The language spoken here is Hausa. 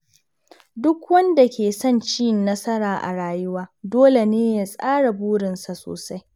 Duk wanda ke son cin nasara a rayuwa, dole ne ya tsara burinsa sosai.